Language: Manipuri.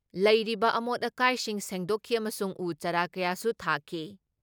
ꯂꯩꯔꯤꯕ ꯑꯃꯣꯠ ꯑꯀꯥꯏꯁꯤꯡ ꯁꯦꯡꯗꯣꯛꯈꯤ ꯑꯃꯁꯨꯡ ꯎ ꯆꯥꯔꯥ ꯀꯌꯥꯁꯨ ꯊꯥꯈꯤ ꯫